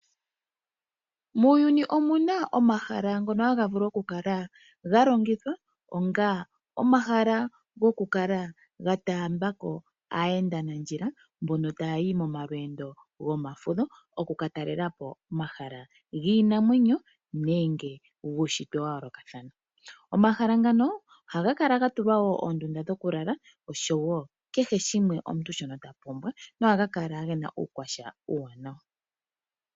Muuyuni omuna omahala ngono haga vulu okukala ga longithwa onga omahala gokukala ga taamba ko aayendanandjila mbono taayi momalweendo gomafudho, okukatalelapo omahala giinamwenyo nenge guushitwe wa yoolokathana. Omahala ngano ohaga kala ga tulwa wo oondunda dhoku lala oshowo kehe shimwe omuntu shono ta pumbwa, nohaga kala gena uukwatya uuwanawa.